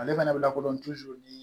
Ale fana bɛ lakodɔn ni